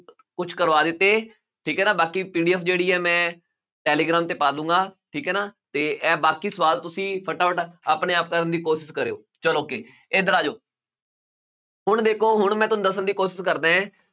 ਕੁਛ ਕਰਵਾ ਦਿੱਤੇ ਠੀਕ ਹੈ ਨਾ ਬਾਕੀ PDF ਜਿਹੜੀ ਹੈ ਮੈਂ ਟੈਲੀਗ੍ਰਾਮ ਤੇ ਪਾ ਦਊਂਗਾ, ਠੀਕ ਹੈ ਨਾ ਤੇ ਇਹ ਬਾਕੀ ਸਵਾਲ ਤੁਸੀਂ ਫਟਾਫਟ ਆਪਣੇ ਆਪ ਕਰਨ ਦੀ ਕੋਸ਼ਿਸ਼ ਕਰਿਓ ਚਲੋ ਅੱਗੇ ਇੱਧਰ ਆ ਜਾਓ ਹੁਣ ਦੇਖੋ ਹੁਣ ਮੈਂ ਤੁਹਾਨੂੰ ਦੱਸਣ ਦੀ ਕੋਸ਼ਿਸ਼ ਕਰਦਾ ਹੈ